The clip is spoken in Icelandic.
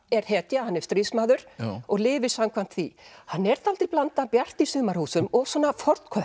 er hetja hann er stríðsmaður og lifir samkvæmt því hann er dálítil blanda af Bjarti í sumarhúsum og